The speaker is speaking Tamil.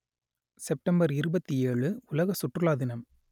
செப்டம்பர் இருபத்தி ஏழு உலக சுற்றுலா தினம்